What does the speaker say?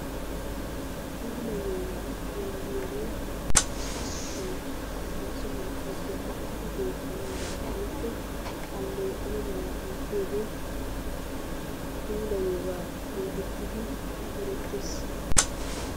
Puulayiyoogaa yaagiyooge issi sohoy hara sohuwappe dummatidi beetanaadan woykko aleeqana mala oottiyooge pulayiyooga getettidi erettees.